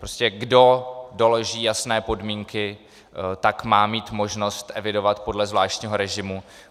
Prostě kdo doloží jasné podmínky, tak má mít možnost evidovat podle zvláštního režimu.